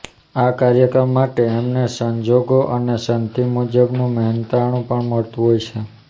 આ કાર્ય માટે એમને સંજોગો અને સંધિ મુજબનું મહેનતાણું પણ મળતું હોય છે